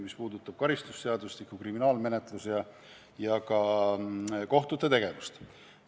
Need puudutavad karistusseadustikku, kriminaalmenetlust ja ka kohtute tegevust.